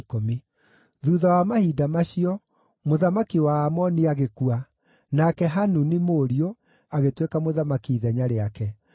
Thuutha wa mahinda macio, mũthamaki wa Aamoni agĩkua, nake Hanuni, mũriũ, agĩtuĩka mũthamaki ithenya rĩake.